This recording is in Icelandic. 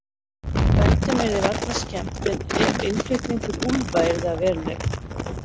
Bændum yrði varla skemmt ef innflutningur úlfa yrði að veruleika.